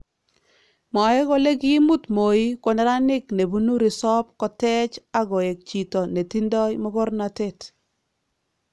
Mwae kole kimuut Moi ko neranik nebunuu resoop kotech akoek chito netindo mokornotet